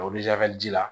ji la